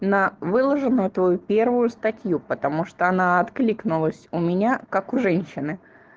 на выложенную твою первую статью потому что она откликнулась у меня как у женщины